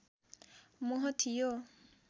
मोह थियो